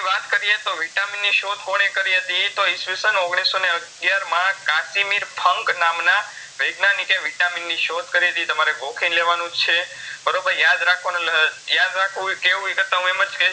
વાત કરીયે તો vitamin ની શોધ કોણે કરી હતી તો ઈસવી સન ઓગણીસસો ને અગ્યારમાં કાસિમિર ફંક નામના વૈજ્ઞાનિકએ vitamin ની શોધ કારીતી તમારે ગોખીન લેવાનુંજ છે બરોબર યાદ રાખવાનું લઃ યાદ રાખવું કેવું ઈકરતાં હું એમજ